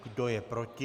Kdo je proti?